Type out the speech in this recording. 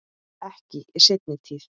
Ekki í seinni tíð.